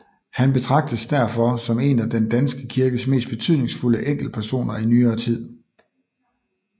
Han betragtes derfor som en af den danske kirkes mest betydningsfulde enkeltpersoner i nyere tid